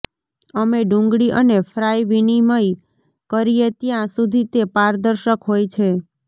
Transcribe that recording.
અમે ડુંગળી અને ફ્રાય વિનિમય કરીએ ત્યાં સુધી તે પારદર્શક હોય છે